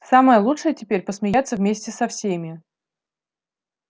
самое лучшее теперь посмеяться вместе со всеми